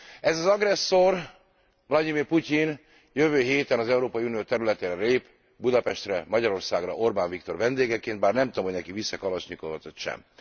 Ez az agresszor, Vlagyimir Putyin jövő héten az Európai Unió területére lép, Budapestre, Magyarországra, Orbán Viktor vendégeként bár nem tudom, hogy neki visz e Kalasnyikovot vagy sem.